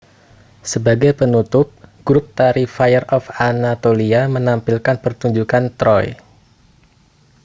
sebagai penutup grup tari fire of anatolia menampilkan pertunjukan troy